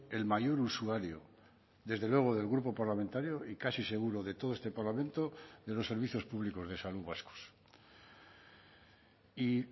el mayor usuario desde luego del grupo parlamentario y casi seguro de todo este parlamento de los servicios públicos de salud vascos y